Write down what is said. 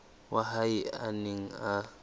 wa hae a neng a